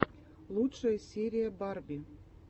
лучшая серия барби